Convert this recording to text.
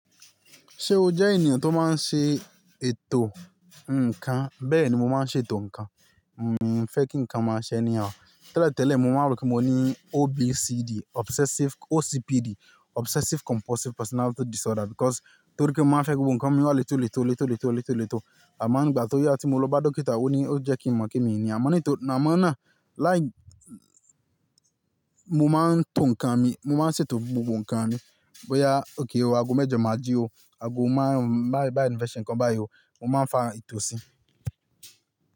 Ṣé o jẹ́ ènìyàn tó máa ń ṣe ètò nǹkan? Bẹ́ẹ̀ni, mo máa ń ṣe ètò nǹkan. N o fẹ́ kí nǹkan máa ṣe anyhow. Tẹ́lẹ̀ tẹ́lẹ̀ mo máa rò pé mo ní OBCD, obsessive-- OCPD, obsessive compulsive personality disorder because torí kí ń máa fẹ́ kí gbogbo nǹkan mi wá le tó le tó le tó le tó le tó le tó. Àmó ń gbà tó yá tí mo lọ bá dókítà ó ní ó jẹ́ kí n mọ̀ pe mii ni Àmó nito, àmo náà, mo máa ń tò nǹkan mi, mo máa ń ṣètò gbogbo nǹkan mi. Bóyá okay o, ago mẹ́jọ máa jí o, ago máàrún-uń bá bá mo fe se nǹkan bái ọ, mo máa ń fa ìtò sí.